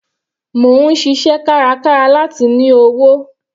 Mò ń ṣiṣẹ́ kárakára láti ní owó.